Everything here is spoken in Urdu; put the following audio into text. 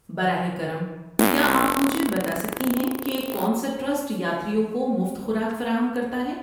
براہ کرم، کیا آپ مجھے بتا سکتے ہیں کہ کون سا ٹرسٹ یاتریوں کو مفت خوراک فراہم کرتا ہے؟